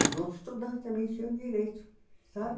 Os outros estudantes também eles tinham direito, sabe?